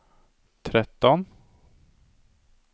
tretton